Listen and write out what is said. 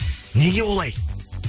неге олай